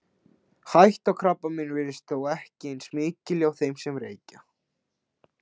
Hætta á krabbameini virðist þó ekki eins mikil og hjá þeim sem reykja.